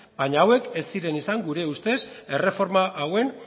baina hauek ez ziren izan gure ustez erreforma hauen